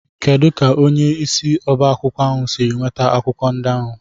Kedu ka onye isi oba akwukwo ahu si nweta akwụkwọ ndị ahụ?